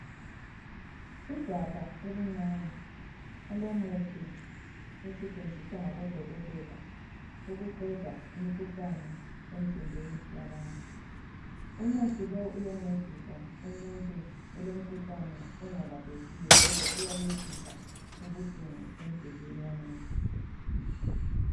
Igabha elincane elomuthi osetshenziswa ngabodokotela ukuqeda imikhuhlane emzimbeni yabantu. Umuthi lo uyancedisa umuntu olomkhuhlane ongalaphekiyo kodwa uyancedisa ukwehlisa ubuhlungu emzimbeni womuntu.